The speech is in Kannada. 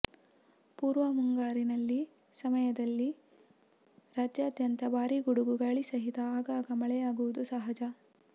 ಪೂರ್ವ ಮುಂಗಾರಿನಲ್ಲಿ ಸಮಯದಲ್ಲಿ ರಾಜ್ಯಾದ್ಯಂತ ಭಾರೀ ಗುಡುಗು ಗಾಳಿ ಸಹಿತ ಆಗಾಗ ಮಳೆಯಾಗುವುದು ಸಹಜ